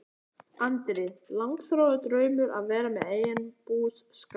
Andri: Langþráður draumur að vera með eigin búskap?